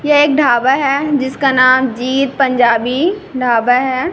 यह एक ढाबा है जिसका नाम जीत पंजाबी ढाबा है।